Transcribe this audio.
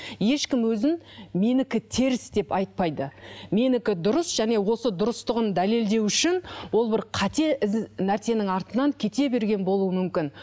ешкім өзін менікі теріс деп айтпайды менікі дұрыс және осы дұрыстығын дәлелдеу үшін ол бір қате нәрсенің артынан кете берген болуы мүмкін